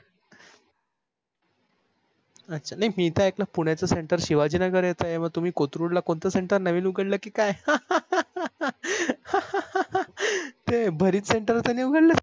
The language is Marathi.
अच्छा नाही मी तर ऐकलं पुण्याच center शिवाजी नगर येत आहे मग तुम्ही कोथरूडला कोणत center नवीन उघडल कि काय हे भरीत center तर नाही उघडल